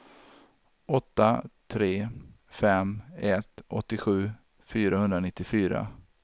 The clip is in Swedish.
åtta tre fem ett åttiosju fyrahundranittiofyra